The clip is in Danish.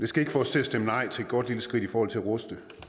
skal ikke få os til at stemme nej til et godt lille skridt i forhold til at ruste